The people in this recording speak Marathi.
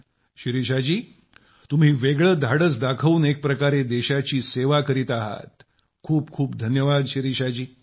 शिरीषा जी तुम्ही वेगळे धाडस दाखवून एक प्रकारे देशाची सेवा करीत आहात खूप खूप धन्यवाद शिरीषा जी